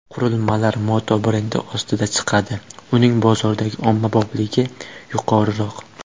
Qurilmalar Moto brendi ostida chiqadi uning bozordagi ommabopligi yuqoriroq.